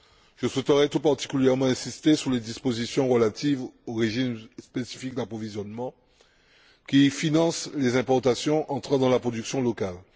Je souhaiterais tout particulièrement insister sur les dispositions relatives au régime spécifique d'approvisionnement qui finance les importations entrant dans la production locale.